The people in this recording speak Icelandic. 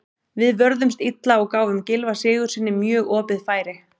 Við vörðumst illa og gáfum Gylfa Sigurðssyni mjög opið færi.